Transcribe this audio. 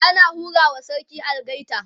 ana hura wa sarki algaita